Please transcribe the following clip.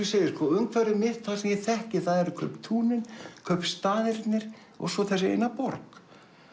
umhverfið mitt sem ég þekki eru kauptúnin kaupstaðirnir og svo þessi eina borg